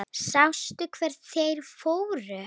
Sástu hvert þeir fóru?